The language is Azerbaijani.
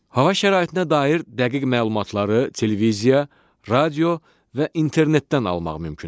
Hava şəraitinə dair dəqiq məlumatları televiziya, radio və internetdən almaq mümkündür.